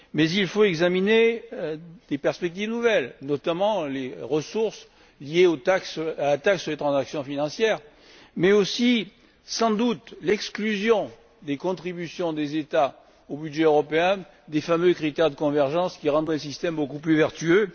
Il faut cependant examiner des perspectives nouvelles, notamment les ressources liées à la taxe sur les transactions financières mais aussi, sans doute, l'exclusion des contributions des États au budget européen des fameux critères de convergence qui rendrait le système beaucoup plus vertueux.